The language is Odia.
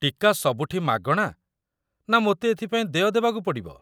ଟୀକା ସବୁଠି ମାଗଣା ନା ମୋତେ ଏଥିପାଇଁ ଦେୟ ଦେବାକୁ ପଡ଼ିବ?